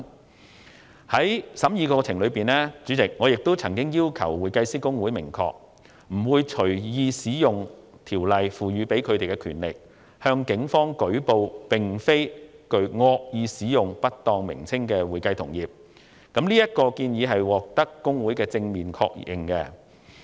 主席，在審議《條例草案》的過程中，我曾要求公會明確表明，不會隨意使用《條例草案》賦予的權力，向警方舉報並無誤導意圖而使用了不當稱謂的會計同業，這項建議獲得公會的正面確認。